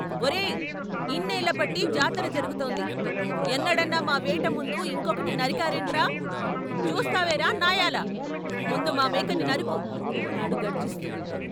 ఒరేయ్ ఇన్నేళ్ళ బట్టి జాతర జరుగుతోంది ఎన్నడన్నా మా వేట ముందు ఇంకొకటి నరికారేంట్రా చుస్తావేరా నాయాలా ముందు మా మేకని నరుకు అన్నాడు గర్జిస్తూ